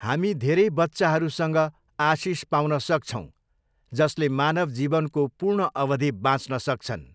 हामी धेरै बच्चाहरूसँग आशिष पाउन सक्छौँ जसले मानव जीवनको पूर्ण अवधि बाँच्न सक्छन्!